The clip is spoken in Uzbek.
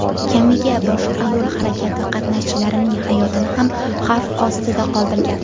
kamiga boshqa yo‘l harakati qatnashchilarining hayotini ham xavf ostida qoldirgan.